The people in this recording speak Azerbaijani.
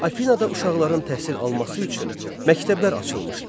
Afinada uşaqların təhsil alması üçün məktəblər açılmışdı.